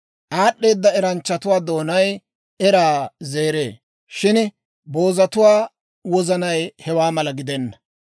Aad'd'eeda eranchchatuwaa doonay eraa zeree; shin boozatuwaa wozanay hewaa mala gidenna.